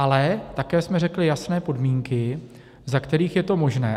Ale také jsme řekli jasné podmínky, za kterých je to možné.